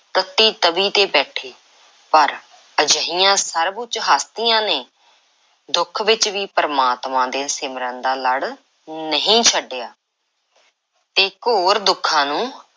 ਤੱਤੀ ਤਵੀ ਤੇ ਬੈਠੇ, ਪਰ ਅਜਿਹੀਆਂ ਸਰਬ–ਉੱਚ ਹਸਤੀਆਂ ਨੇ ਦੁੱਖ ਵਿੱਚ ਵੀ ਪ੍ਰਮਾਤਮਾ ਦੇ ਸਿਮਰਨ ਦਾ ਲੜ ਨਹੀਂ ਛੱਡਿਆ ਤੇ ਘੋਰ ਦੁੱਖਾਂ ਨੂੰ